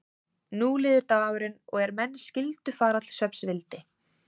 Nú líður dagurinn og er menn skyldu fara til svefns vildi